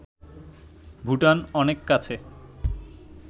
ভুটান অনেক কাছে